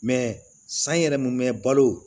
san yɛrɛ mun mɛ balo